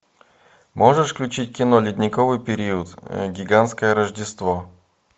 можешь включить кино ледниковый период гигантское рождество